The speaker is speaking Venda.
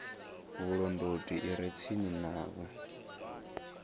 vhulondoti i re tsini navho